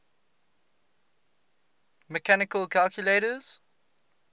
mechanical calculators